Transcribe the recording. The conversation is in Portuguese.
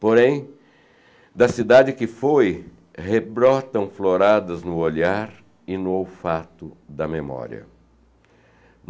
Porém, da cidade que foi, rebrotam floradas no olhar e no olfato da memória.